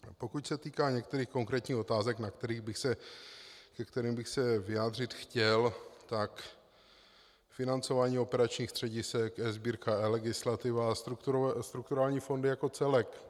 Pokud se týká některých konkrétních otázek, ke kterým bych se vyjádřit chtěl, tak financování operačních středisek, eSbírka, eLegislativa a strukturální fondy jako celek.